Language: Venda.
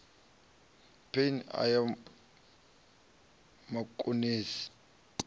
phane e ya vhakonesi i